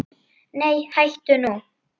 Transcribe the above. Nei hættu nú!